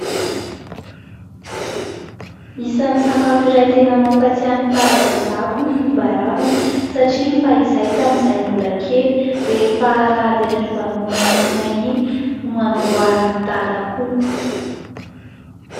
Isan'ny sakafo iray tena mampatsiahy ny fahazazako ny koba ravina, satria fahizay tamin'izahay mbola kely ,rehefa Alahady ariva noana noana iny, no hanamboaran'i Dada koba.